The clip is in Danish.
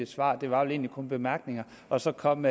et svar der var vel egentlig kun bemærkninger og så kom